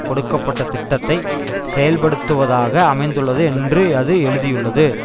கொடுக்க பட்ட திட்டத்தை செயல்படுத்துவதாக அமைந்துள்ளது என்று அது எழுதியுள்ளது